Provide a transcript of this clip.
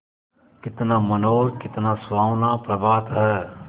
कितना मनोहर कितना सुहावना प्रभात है